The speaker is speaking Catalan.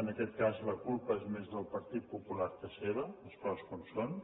en aquest cas la culpa és més del partit popular que seva les coses com siguin